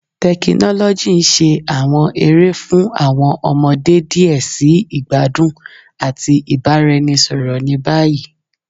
Tekinoloji n ṣe awọn ere fun awọn ọmọde diẹ sii igbadun ati ibaraenisọrọ ni bayi